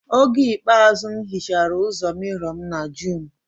Oge ikpeazụ m hichara ụzọ mirrow m na June